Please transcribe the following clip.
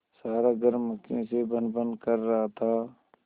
सारा घर मक्खियों से भनभन कर रहा था